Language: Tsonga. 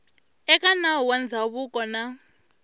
eka nawu wa ndzhavuko na